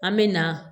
An me na